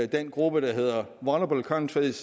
den gruppe der hedder vulnerable countries